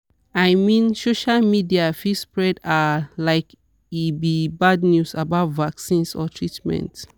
i mean social media fit spread ah like e be bad news about vaccines or treatment.